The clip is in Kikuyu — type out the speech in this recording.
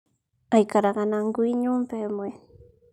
Aikaraga na ngui nyũmba ĩmwe